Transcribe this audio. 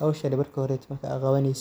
Howshan intad qawanin